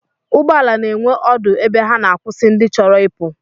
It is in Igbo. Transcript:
Ụgbọala na-enwe ọdụ ebe ha na-akwụsị ndị chọrọ ịpụ